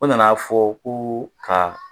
O nan'a fɔ ko ka